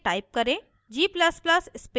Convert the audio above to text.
compile करने के लिए type करें